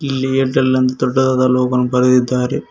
ಇಲ್ಲಿ ಏರ್ಟೆಲ್ ಅಂತ ದೊಡ್ಡದಾದ ಲೋಗೋ ವನ್ನು ಬರೆದಿದ್ದಾರೆ.